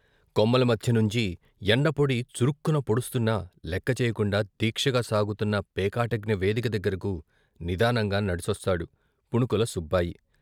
కొమ్మల మధ్య నుంచి ఎండపొడి చురుక్కున పొడుస్తున్నా లెక్క చేయకుండా దీక్షగా సాగుతున్న పేకాటజ్ఞ వేదిక దగ్గరకు నిదానంగా నడిచొస్తాడు పుణుకుల సుబ్బాయి.